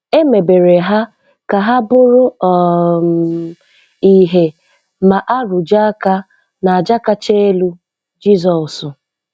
É mèbèrè hà kà há bụ́rụ́ um íhé mà-árụ̀jé áká n'àjà káchá élú, Jízọọ̀sụ̀